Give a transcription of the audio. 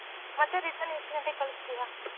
ಮತ್ತೆ return ಎಷ್ಟ್ ಗಂಟೆಗ್ ಕಳ್ಸ್ತೀಯ?